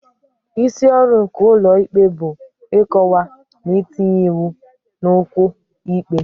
Isi ọrụ nke ụlọ ikpe bụ ịkọwa na itinye iwu n'okwu ikpe.